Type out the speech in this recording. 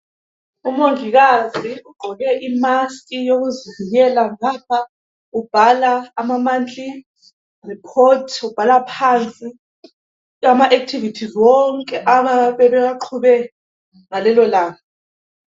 Umongikazi ugqoke imask yokuzivikela ngapha ubhala amamonthly reports, ubhala phansi amaactivities wonke abayabe bewaqhube ngalelolanga.